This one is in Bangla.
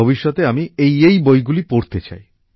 ভবিষ্যতে আমি এইএই বইগুলি পড়তে চাই